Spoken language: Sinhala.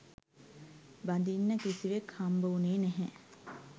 බඳින්න කිසිවෙක් හම්බවුණේ නැහැ